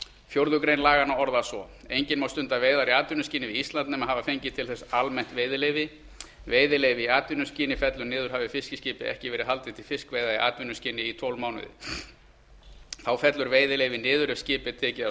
fjórðu grein laganna orðast svo enginn má stunda veiðar í atvinnuskyni við ísland nema hafa fengið til þess almennt veiðileyfi veiðileyfi í atvinnuskyni fellur niður hafi fiskiskipi ekki verið haldið til fiskveiða í atvinnuskyni í tólf mánuði þá fellur veiðileyfi niður ef fiskiskip er tekið af